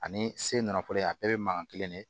Ani se nafolo ye a bɛɛ bɛ mankan kelen de